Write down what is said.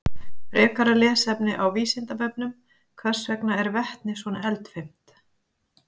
Frekara lesefni á Vísindavefnum: Hvers vegna er vetni svona eldfimt?